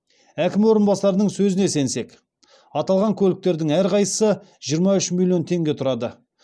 әкім орынбасарының сөзіне сенсек аталған көліктердің әрқайсысы жиырма үш миллион теңге тұрады